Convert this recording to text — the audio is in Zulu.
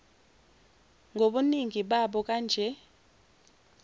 ngobuningi babo kanje